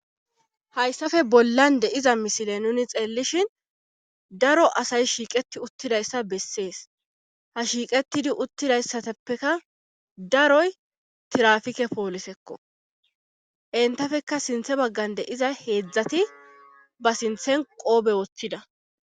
hayssafe bollan de iza misile nuni xeellishin daro asay shiiqeti uttidayssa bessees ha shiiqetidi uttidayssateppeka daroy tirafike poolisekko entafeka sinthe baggan de iza heedzdzati ba sinthen qoobe wothtida